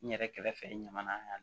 N yɛrɛ kɛrɛfɛ ɲamana